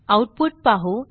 output पाहू